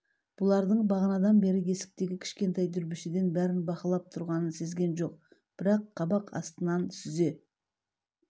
бұлардың бағанадан бері есіктегі кішкентай дүрбішеден бәрін бақылап тұрғанын сезген жоқ бірақ қабақ астынан сүзе